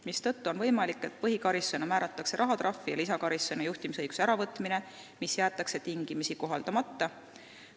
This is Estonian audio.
Seetõttu on võimalik, et põhikaristusena määratakse rahatrahv ja lisakaristusena juhtimisõiguse äravõtmine, mis jäetakse tingimisi kohaldamata.